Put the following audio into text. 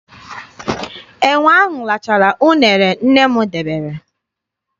Enwe ahụ rachara uṅere nne m debere.